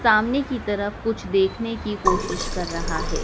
सामने की तरफ कुछ देखने की कोशिश कर रहा है।